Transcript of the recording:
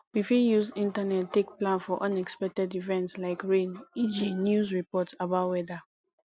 we fit use internet take plan for unexpected event like rain eg news report about weather